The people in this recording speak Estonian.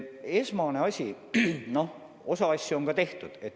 Esiteks, osa asju on ikkagi tehtud.